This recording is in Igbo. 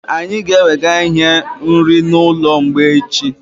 Anyị ga-ewega ihe nri na ụlọ mgbei echi